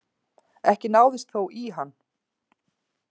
Ekki náðist þó í hann